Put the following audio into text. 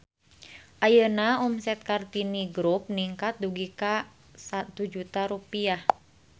Ayeuna omset Kartini Grup ningkat dugi ka 1 juta rupiah